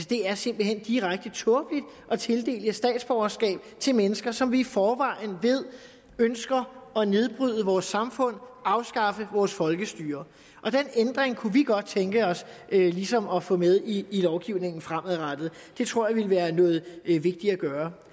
det er simpelt hen direkte tåbeligt at tildele statsborgerskab til mennesker som vi i forvejen ved ønsker at nedbryde vores samfund at afskaffe vores folkestyre den ændring kunne vi godt tænke os ligesom at få med i lovgivningen fremadrettet det tror jeg ville være noget vigtigt at gøre